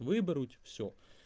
выбрать всё